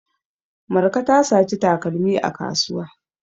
Marka ta saci takalmi a kasuwa.